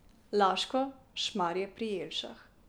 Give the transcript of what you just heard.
Laško, Šmarje pri Jelšah.